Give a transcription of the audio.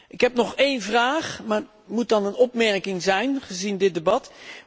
Ik heb nog één vraag, maar dat moet dan een opmerking zijn gezien dit debat.